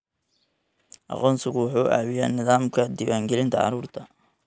Aqoonsigu wuxuu caawiyaa nidaamka diiwaangelinta carruurta.